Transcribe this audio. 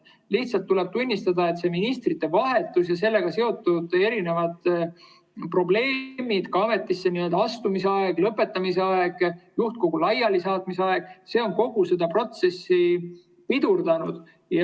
Lihtsalt tuleb tunnistada, et ministrite vahetus ja sellega seotud probleemid, ka ametisse astumise ja lõpetamise aeg, juhtkogu laialisaatmise aeg, on kogu seda protsessi pidurdanud.